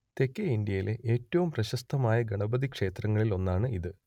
തെക്കേ ഇന്ത്യയിലെ ഏറ്റവും പ്രശസ്തമായ ഗണപതി ക്ഷേത്രങ്ങളിൽ ഒന്നാണ് ഇത്